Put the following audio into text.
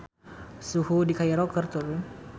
Suhu di Kairo keur turun